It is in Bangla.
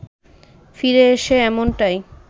ফিরে এসে এমনটাই